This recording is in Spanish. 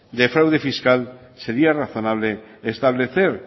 de fraude fiscal sería razonable establecer